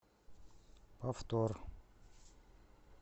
повтор